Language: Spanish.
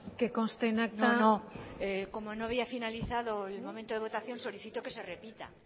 que conste en acta no no como no había finalizado el momento de votación solicito que se repita